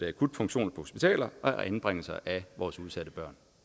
akutfunktioner på hospitaler og anbringelser af vores udsatte børn